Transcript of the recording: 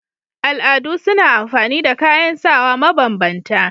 Al'adu suna amfani da kayan sawa ma banbanta